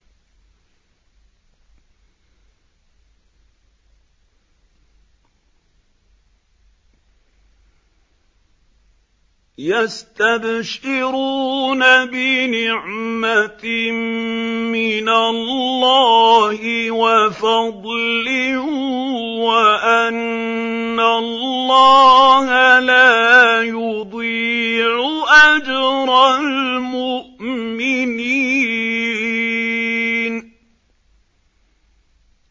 ۞ يَسْتَبْشِرُونَ بِنِعْمَةٍ مِّنَ اللَّهِ وَفَضْلٍ وَأَنَّ اللَّهَ لَا يُضِيعُ أَجْرَ الْمُؤْمِنِينَ